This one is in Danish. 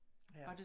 Ja